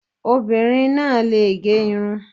Obinrin náà lè gẹ irun.